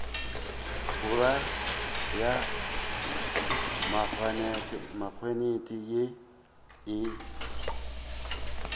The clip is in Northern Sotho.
borwa ya maknete ye e